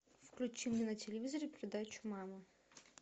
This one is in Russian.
включи мне на телевизоре передачу мама